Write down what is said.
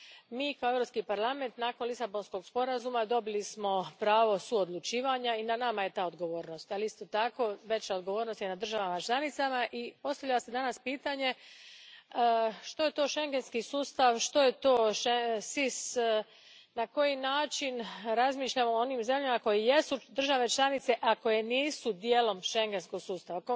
Mi, kao Europski parlament, nakon Lisabonskog sporazuma dobili smo pravo suodlučivanja i na nama je ta odgovornost, ali isto tako veća je odgovornost na državama članicama i danas se postavlja pitanje što je to schengenski sustav, što je to SIS, na koji način razmišljamo o onim zemljama koje jesu države članice, a koje nisu dijelom schengenskog sustava.